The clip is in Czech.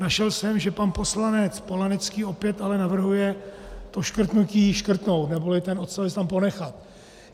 Našel jsem, že pan poslanec Polanecký opět ale navrhuje to škrtnutí škrtnout neboli ten odstavec tam ponechat.